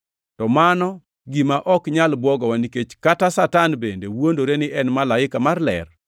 To mano gima ok nyal bwogowa nikech kata Satan bende wuondore ni en malaika mar ler.